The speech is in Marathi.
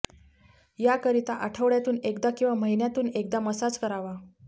याकरिता आठवडय़ातून एकदा किंवा महिन्यातून एकदा मसाज करावा